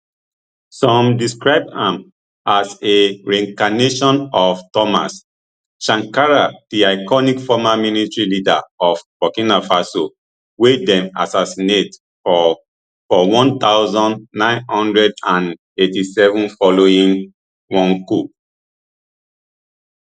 some describe am as a reincarnation of thomas sankara di iconic former military leader of burkina faso wey dem assassinate for for one thousand, nine hundred and eighty-seven following one coup